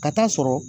Ka taa sɔrɔ